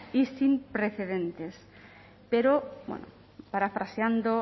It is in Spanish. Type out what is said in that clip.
y sin precedentes pero parafraseando